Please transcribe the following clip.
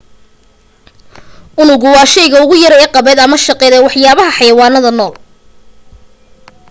unugu waa shayga ugu yar ee qaabeed ama shaqeed ee waxyaalaha xayawaanada nool